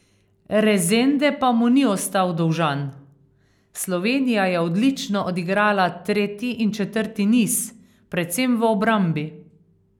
Rezende pa mu ni ostal dolžan: 'Slovenija je odlično odigrala tretji in četrti niz, predvsem v obrambi.